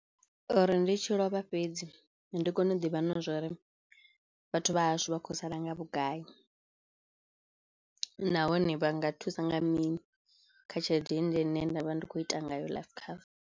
Uri ndi tshi lovha fhedzi ndi kone u ḓivha na zwori vhathu vha hashu vha khou sala nga vhugai nahone vha nga thusa nga mini kha tshelede ine nṋe nda vha ndi khou ita ngayo life cover.